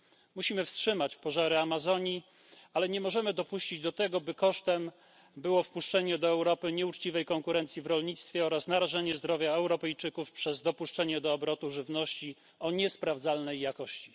Musimy wstrzymać pożary Amazonii, ale nie możemy dopuścić do tego, by kosztem było wpuszczenie do Europy nieuczciwej konkurencji w rolnictwie oraz narażenie zdrowia Europejczyków przez dopuszczenie do obrotu żywności o niesprawdzalnej jakości.